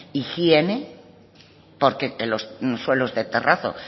higiene porque los suelos de terrazo